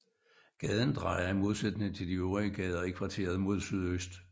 Gaden drejer i modsætning til de øvrige gader i kvarteret mod sydøst